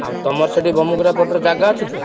ଆଉ ତମର ସେଠି ବମୁକୁରା ପଟରେ ଜାଗା ଅଛି ତ?